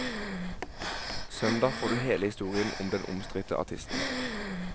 Søndag får du hele historien om den omstridte artisten.